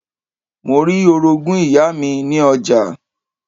Mo rí Orogún ìyá mi ní ọjà